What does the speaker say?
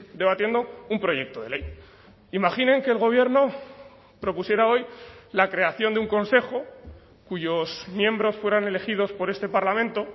debatiendo un proyecto de ley imaginen que el gobierno propusiera hoy la creación de un consejo cuyos miembros fueran elegidos por este parlamento